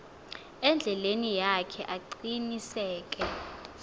endleleni yakhe aqiniseke